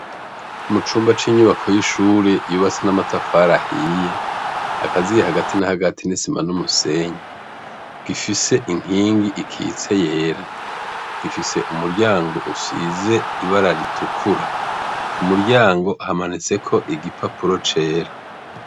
Mu cumba c'inyubako y'ishure yubatse n'amatafari ahiye akaziye hagati na hagati n'isima n'umusenyi, gifise inkingi ikitse yera, gifise umuryango usize ibara ritukura, ku muryango hamanitseko igipapuro cera.